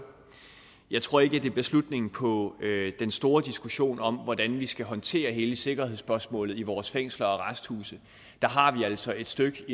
jeg tror ikke det bliver slutningen på den store diskussion om hvordan vi skal håndtere hele sikkerhedsspørgsmålet i vores fængsler og arresthuse der har vi altså et stykke